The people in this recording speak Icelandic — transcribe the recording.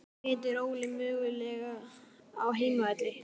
Hvernig metur Óli möguleikana á heimavelli?